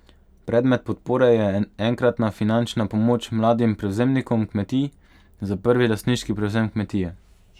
Predmet podpore je enkratna finančna pomoč mladim prevzemnikom kmetij za prvi lastniški prevzem kmetije.